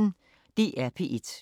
DR P1